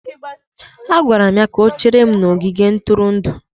Agwara m ya ka o chere m n'ogige ntụrụndụ.